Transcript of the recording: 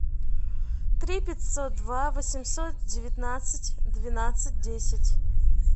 три пятьсот два восемьсот девятнадцать двенадцать десять